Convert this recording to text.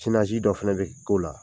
Sinasi dɔ fɛnɛ be k'o la.